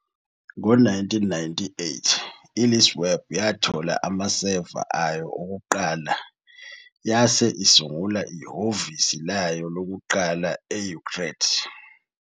Ngo-1998, iLeaseweb yathola amaseva ayo okuqala yase isungula ihhovisi layo lokuqala e-Utrecht.